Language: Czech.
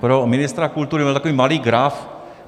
Pro ministra kultury, mám takový malý graf.